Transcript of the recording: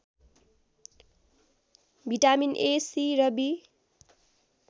vitamin A C र be